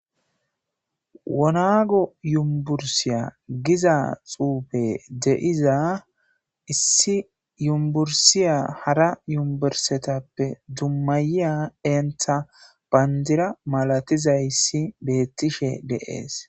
wonago yumbursiya giza xuufe deiza issi yumbursiya hara yumbursetappe dummayiya entha bandira malatizayssi beettishe deees